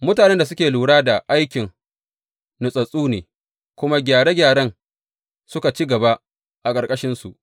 Mutanen da suke lura da aikin natsattsu ne, kuma gyare gyaren suka ci gaba a ƙarƙashinsu.